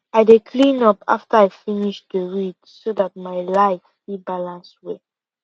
i dey cleean up after i finish to read so dat my life fit balance well